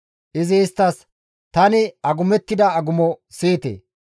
Izi isttas, «Tani agumettida agumo siyite.